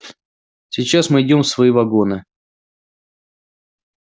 сейчас мы идём в свои вагоны